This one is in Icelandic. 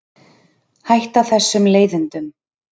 Hætta þessum leiðindum.